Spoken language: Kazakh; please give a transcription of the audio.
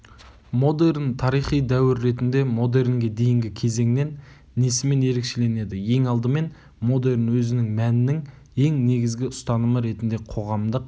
модерн тарихи дәуір ретінде модернге дейінгі кезеңнен несімен ерекшеленеді ең алдымен модерн өзінің мәнінің ең негізгі ұстанымы ретінде қоғамдық